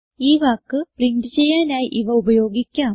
ഈ വാക്ക് പ്രിന്റ് ചെയ്യാനായി ഇവ ഉപയോഗിക്കാം